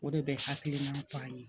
O de bɛ hakili f'an ye